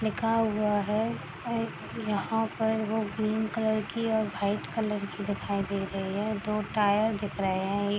लिखा हुआ है ए यहां पर वो ग्रीन कलर की और वाइट कलर की दिखाई दे रही है दो टायर दिख रहे हैं ए --